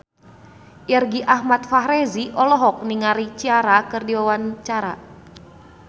Irgi Ahmad Fahrezi olohok ningali Ciara keur diwawancara